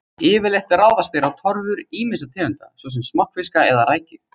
Yfirleitt ráðast þeir á torfur ýmissa tegunda, svo sem smokkfiska eða rækju.